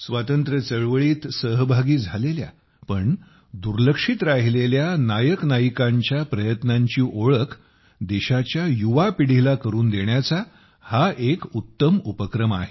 स्वातंत्र्य चळवळीत सहभागी झालेल्या पण दुर्लक्षित राहिलेल्या नायकनायिकांच्या प्रयत्नांची ओळख देशाच्या युवा पिढीला करून देण्याचा हा एक उत्तम उपक्रम आहे